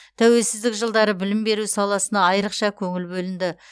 тәуелсіздік жылдары білім беру саласына айрықша көңіл бөлінді